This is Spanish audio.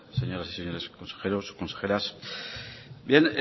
señoras y señores consejeros consejeras bien